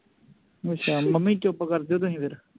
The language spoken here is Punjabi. ਅੱਛਾ ਮੰਮੀ ਚੁੱਪ ਕਰਜੋ ਤੁਸੀਂ ਫਿਰ